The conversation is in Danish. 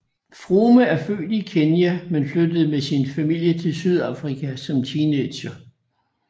Froome er født i Kenya men flyttede med sin familie til Sydafrika som teenager